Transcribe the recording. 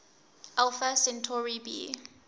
alpha centauri b